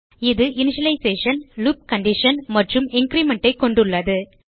இது initialization loop condition மற்றும் increment ஐ கொண்டுள்ளது